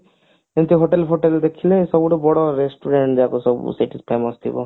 ସେଇଠି hotel ଫୋଟେଲ ଦେଖିଲେ ସବୁଠୁ ବଡ restaurant ଯାକ ସବୁ ସେଠି famous ଥିବ